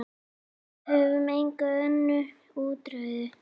Við höfum engin önnur úrræði.